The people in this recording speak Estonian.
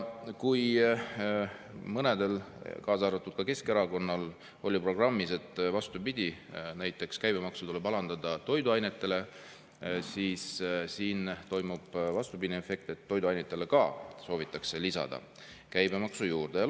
Kui mõnel, kaasa arvatud Keskerakonnal, oli programmis, et näiteks toiduainete käibemaksu tuleb alandada, siis siin toimub vastupidine: ka toiduainetel soovitakse käibemaksu juurde lisada.